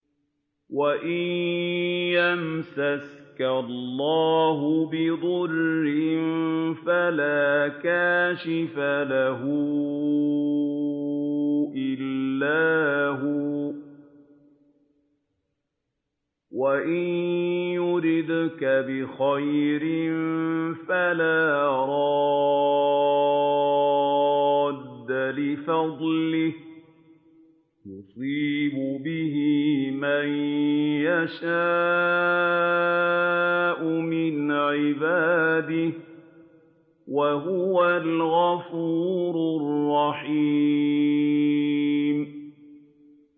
وَإِن يَمْسَسْكَ اللَّهُ بِضُرٍّ فَلَا كَاشِفَ لَهُ إِلَّا هُوَ ۖ وَإِن يُرِدْكَ بِخَيْرٍ فَلَا رَادَّ لِفَضْلِهِ ۚ يُصِيبُ بِهِ مَن يَشَاءُ مِنْ عِبَادِهِ ۚ وَهُوَ الْغَفُورُ الرَّحِيمُ